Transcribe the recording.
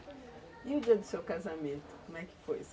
E o dia do seu casamento, como é que foi?